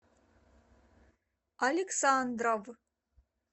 александров